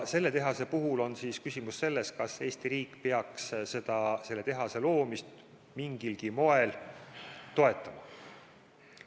Selle tehase puhul on küsimus selles, kas Eesti riik peaks selle tehase loomist mingilgi moel toetama.